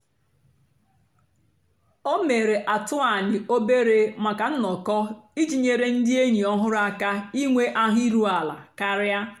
o mèrè àtụ̀anị̀ òbèré nnọ́kọ́ ijì nyèrè ndì ényì ọ̀hụrụ́ àka ìnwé àhụ́ ìrù àla kàrị̀.